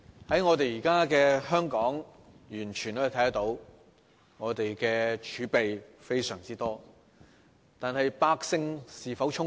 在現今的香港，完全可以看到府庫充盈，我們的儲備非常多，但百姓是否充足？